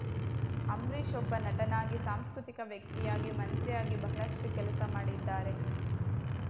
ಅಂಬರೀಶ್ ಒಬ್ಬ ನಟನಾಗಿ ಸಾಂಸ್ಕೃತಿಕ ವ್ಯಕ್ತಿಯಾಗಿ ಮಂತ್ರಿಯಾಗಿ ಬಹಳಷ್ಟು ಕೆಲಸ ಮಾಡಿದ್ದಾರೆ